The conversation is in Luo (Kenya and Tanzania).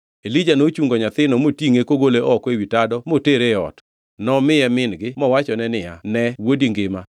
Elija nochungo nyathino motingʼe kogole oko ewi tado motere e ot. Nomiye min-gi mowachone niya ne wuodi ngima!